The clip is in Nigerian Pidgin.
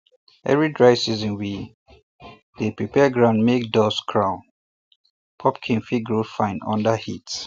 every dry season we um dey um prepare ground make dust crown um pumpkin fit grow fine under heat